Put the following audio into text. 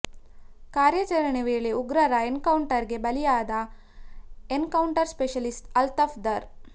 ಕಾರ್ಯಾಚರಣೆ ವೇಳೆ ಉಗ್ರರ ಎನ್ ಕೌಂಟರ್ ಗೆ ಬಲಿಯಾದ ಎನ್ ಕೌಂಟರ್ ಸ್ಪೆಶಲಿಸ್ಟ್ ಅಲ್ತಾಫ್ ದಾರ್